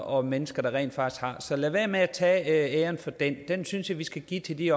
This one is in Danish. og mennesker der rent faktisk har så lad være med at tage æren for det den synes jeg vi skal give til de